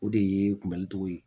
O de ye kunbɛli cogo ye